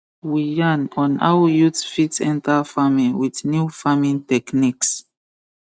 we yarn on how youths fit enter farming with new farming techniques